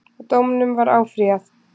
Dómunum var áfrýjað